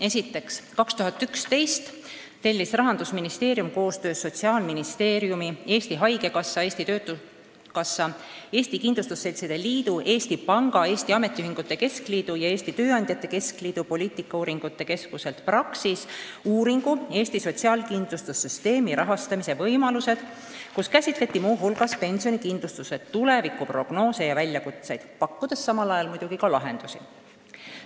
Esiteks, aastal 2011 tellis Rahandusministeerium koostöös Sotsiaalministeeriumi, Eesti Haigekassa, Eesti Töötukassa, Eesti Kindlustusseltside Liidu, Eesti Panga, Eesti Ametiühingute Keskliidu ja Eesti Tööandjate Keskliiduga poliitikauuringute keskuselt Praxis uuringu "Eesti sotsiaalkindlustussüsteemi rahastamise võimalused", kus käsitleti muu hulgas pensionikindlustuse tulevikku, prognoose ja väljakutseid ning pakuti muidugi välja ka lahendusi.